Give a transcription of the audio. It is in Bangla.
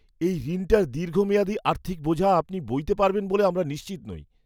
এই ঋণটার দীর্ঘমেয়াদি আর্থিক বোঝা আপনি বইতে পারবেন বলে আমরা নিশ্চিত নই।